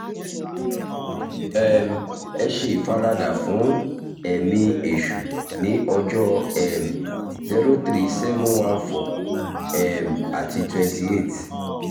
um ẹ ṣe ìfaradà fún ẹ̀mí èṣù ní ọjọ́ um 03714 um àti 28